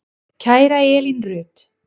Kæra Elín Rut.